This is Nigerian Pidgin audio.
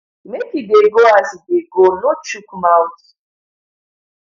make e dey go as e dey go no chook mouth